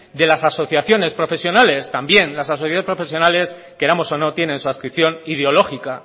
de las asociaciones profesionales también las asociaciones profesionales queramos o no tienen su adscripción ideológica